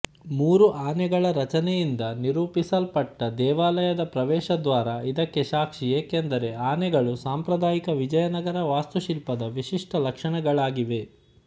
ಮೂರು ಆನೆಗಳ ರಚನೆಯಿಂದ ನಿರೂಪಿಸಲ್ಪಟ್ಟ ದೇವಾಲಯದ ಪ್ರವೇಶದ್ವಾರ ಇದಕ್ಕೆ ಸಾಕ್ಷಿ ಏಕೆಂದರೆ ಆನೆಗಳು ಸಾಂಪ್ರದಾಯಿಕ ವಿಜಯನಗರ ವಾಸ್ತುಶಿಲ್ಪದ ವಿಶಿಷ್ಟ ಲಕ್ಷಣಗಳಾಗಿವೆ